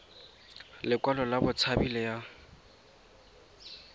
lekwalo la botshabi le ya